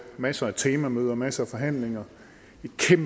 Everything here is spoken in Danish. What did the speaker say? masser af temamøder og masser af forhandlinger